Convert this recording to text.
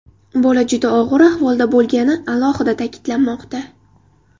Bola juda og‘ir ahvolda bo‘lgani alohida ta’kidlanmoqda.